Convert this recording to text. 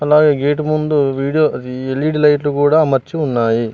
అలాగే గేటు ముందు వీడియో ఇది ఎల్_ఈ_డి లైట్లు కూడా అమర్చి ఉన్నాయి.